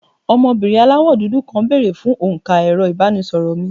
ọmọbìnrin àláwọ dudu kàn bere fún onka ẹrọ ibanisoro mí